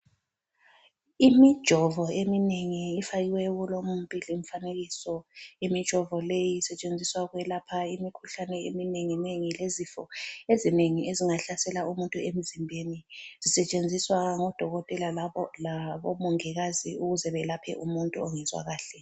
Imijovo eminengi efakiweyo kulowu umfanekiso. Imijovo leyi isetshenziswa ukwelapha imikhuhlane eminengi nengi lezifo ezinengi ezingahlasela umuntu emzimbeni. Zisetshenziswa ngodokotela labomongikazi ukuze belaphe umuntu ongezwa kahle.